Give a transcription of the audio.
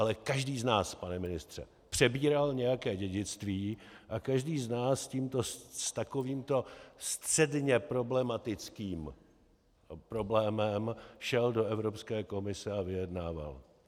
Ale každý z nás, pane ministře, přebíral nějaké dědictví a každý z nás s takovýmto středně problematickým problémem šel do Evropské komise a vyjednával.